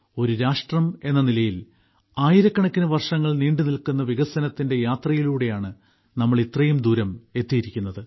ഒരു രാഷ്ട്രമെന്ന നിലയിൽ ആയിരക്കണക്കിന് വർഷങ്ങൾ നീണ്ടുനിൽക്കുന്ന വികസനത്തിന്റെ യാത്രയിലൂടെയാണ് നാം ഇത്രയും ദൂരം എത്തിയിരിക്കുന്നത്